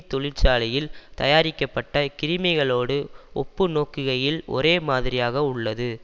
தொழிற்சாலையில் தயாரிக்கப்பட்ட கிருமிகளோடு ஒப்பு நோக்குகையில் ஒரேமாதிரியாக உள்ளது